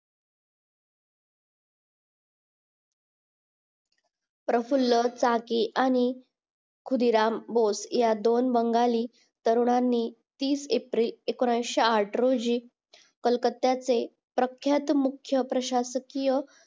प्रफुल्या चाकी आणि खुदिराम बोस या दोन बंगाली तरुणांनी तीस एप्रिल एकोणीशे आठ रोजी कोलकत्याचे मुख्यप्रसाकीय